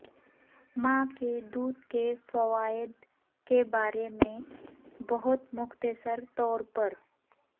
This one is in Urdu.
ماں کے دودھ کے فوائد کے بارے میں بہت مختصر طور پر